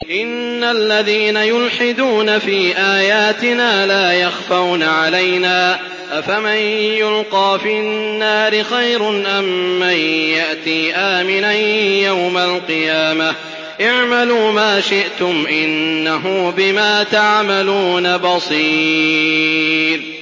إِنَّ الَّذِينَ يُلْحِدُونَ فِي آيَاتِنَا لَا يَخْفَوْنَ عَلَيْنَا ۗ أَفَمَن يُلْقَىٰ فِي النَّارِ خَيْرٌ أَم مَّن يَأْتِي آمِنًا يَوْمَ الْقِيَامَةِ ۚ اعْمَلُوا مَا شِئْتُمْ ۖ إِنَّهُ بِمَا تَعْمَلُونَ بَصِيرٌ